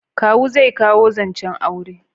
Kawu zai kawo zancen aure